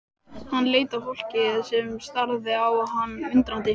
Hann leit á fólkið sem starði á hann undrandi.